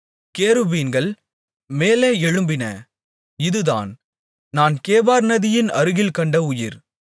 கேருபீன்கள் மேலே எழும்பின இதுதான் நான் கேபார் நதியின் அருகில் கண்ட உயிர்